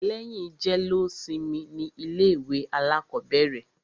Lẹ́yìn jẹ́lósimi ni ilé ìwé alákọ̀bẹ̀rẹ̀.